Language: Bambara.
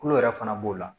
Tulo yɛrɛ fana b'o la